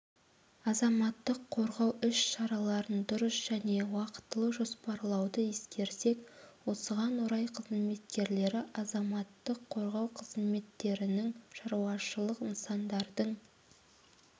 азаматтық қорғау іс-шараларын дұрыс және уақытылы жоспарлауды ескерсек осыған орай қызметкерлері азаматтық қорғау қызметтерінің шаруашылық нысандардың